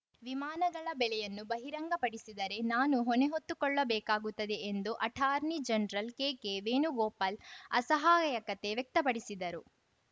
ವಿಮಾನಗಳ ಬೆಲೆಯನ್ನು ಬಹಿರಂಗಪಡಿಸಿದರೆ ನಾನು ಹೊಣೆ ಹೊತ್ತುಕೊಳ್ಳಬೇಕಾಗುತ್ತದೆ ಎಂದು ಅಟಾರ್ನಿ ಜನರಲ್‌ ಕೆಕೆ ವೇಣುಗೋಪಾಲ್‌ ಅಸಹಾಯಕತೆ ವ್ಯಕ್ತಪಡಿಸಿದರು